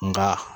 Nka